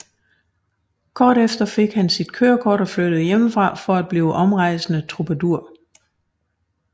Kort efter fik han sit kørekort og flyttede hjemmefra for at blive en omrejsende troubadour